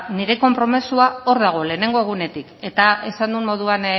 nire konpromezua hor dago lehenengo egunetik eta esan duen moduan